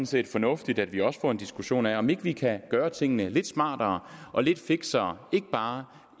set fornuftigt at vi også får en diskussion af om ikke vi kan gøre tingene lidt smartere og lidt fiksere ikke bare